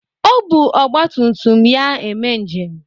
O bu ọgbatumtum ya eme njem.